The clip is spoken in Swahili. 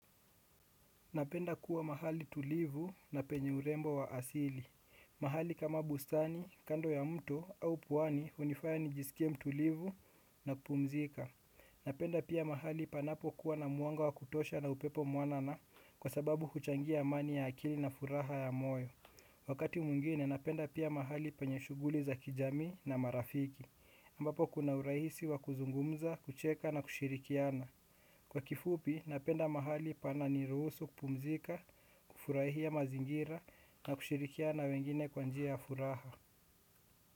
Napenda kuwa mahali tulivu na penye urembo wa asili. Mahali kama bustani, kando ya mto au pwani hunifaya nijiskie mtulivu na kupumzika. Napenda pia mahali panapokuwa na mwanga wa kutosha na upepo mwanana kwa sababu kuchangia amani ya akili na furaha ya moyo. Wakati mwingine napenda pia mahali penye shuguli za kijami na marafiki. Ambapo kuna urahisi wa kuzungumza, kucheka na kushirikiana. Kwa kifupi, napenda mahali pananiruhusu kupumzika, kufurahia mazingira na kushirikiana na wengine kwa njia ya furaha.